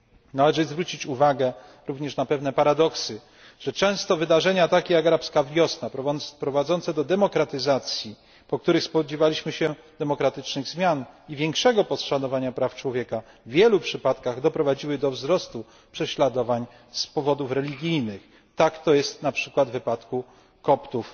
Należy zwrócić uwagę również na pewne paradoksy, że często wydarzenia takie jak arabska wiosna, prowadzące do demokratyzacji, po których spodziewaliśmy się demokratycznych zmian i większego poszanowania praw człowieka, w wielu przypadkach doprowadziły do wzrostu prześladowań z powodów religijnych. Tak jest na przykład w przypadku Koptów